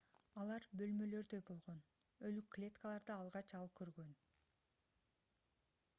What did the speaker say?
алар бөлмөлөрдөй болгон өлүк клеткаларды алгач ал көргөн